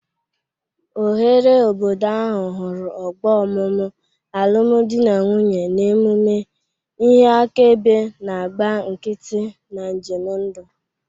Oghere obodo ahụ hụrụ ọgbọ ọmụmụ, alụm di na nwunye, na emume, ihe akaebe na-agba nkịtị na njem ndụ.